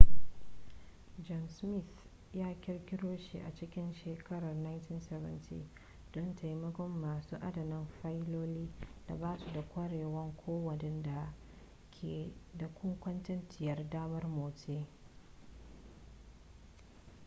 john smith ya kirkiro shi a cikin shekarar 1970 don taimakon masu adana fayiloli da ba su da ƙwarewa ko waɗanda ke da kuntatacciyar damar motsi